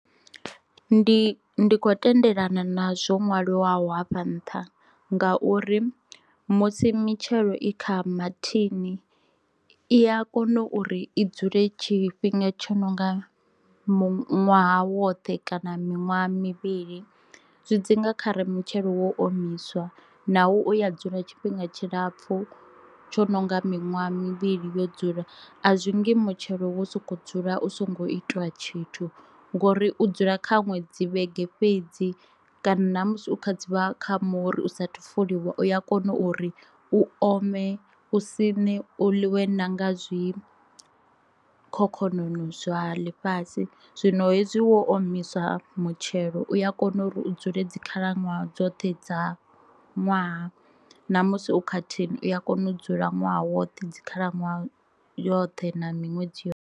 Ndi ndi khou tendelana nazwo ṅwaliwaho hafha nṱha ngauri musi mitshelo i kha mathini i a kona uri i dzule tshifhinga tsho no nga mu ṅwaha woṱhe kana miṅwaha mivhili, zwi dzinga khare mitshelo omiswa na wo u ya dzula tshifhinga tshilapfhu tsho no nga miṅwaha mivhili yo dzula a zwi ngo mutshelo wo sokou dzula u songo itwa tshithu, ngori u dzula kha nwe dzi vhege fhedzi kana na musi u kha dzivha kha muri u sathu fuliwa uya kona uri u ome u sine u ḽiwe na nga zwi zwikhokhonono zwa ḽifhasi, zwino hezwi wo omiswa mutshelo uya kona uri u dzule dzi khalaṅwaha dzoṱhe dza ṅwaha na musi u kha thini u ya kona u dzula ṅwaha woṱhe dzi khalaṅwaha yoṱhe na miṅwedzi yoṱhe.